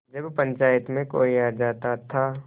जब पंचायत में कोई आ जाता था